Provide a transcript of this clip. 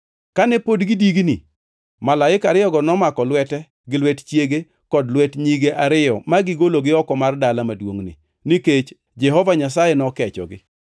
Kane pod gidigni, malaika ariyogo nomako lwete gi lwet chiege kod lwet nyige ariyo ma gigologi oko mar dala maduongʼni, nikech Jehova Nyasaye nokechogi.